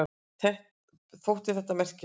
Þótti þetta merkilegt.